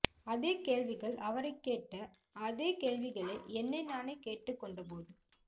அதே கேள்விகள் அவரை கேட்ட அதே கேள்விகளை என்னை நானே கேட்டுக் கொண்ட போது